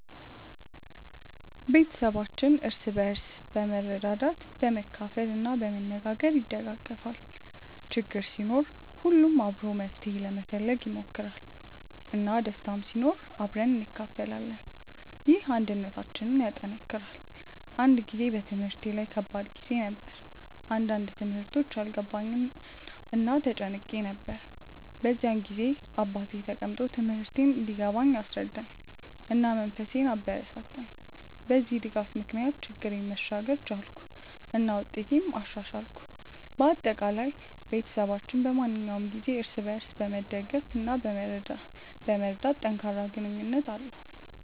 ቤተሰባችን እርስ በርስ በመርዳት፣ በመካፈል እና በመነጋገር ይደጋገፋል። ችግር ሲኖር ሁሉም አብሮ መፍትሄ ለመፈለግ ይሞክራል፣ እና ደስታም ሲኖር አብረን እንካፈላለን። ይህ አንድነታችንን ያጠናክራል። አንድ ጊዜ በትምህርቴ ላይ ከባድ ጊዜ ነበር፣ አንዳንድ ትምህርቶች አልገባኝም እና ተጨንቄ ነበር። በዚያ ጊዜ አባቴ ተቀምጦ ትምህርቴን እንዲገባኝ አስረዳኝ፣ እና መንፈሴን አበረታታኝ። በዚህ ድጋፍ ምክንያት ችግሬን መሻገር ቻልኩ እና ውጤቴንም አሻሻልኩ። በአጠቃላይ፣ ቤተሰባችን በማንኛውም ጊዜ እርስ በርስ በመደገፍ እና በመርዳት ጠንካራ ግንኙነት አለው።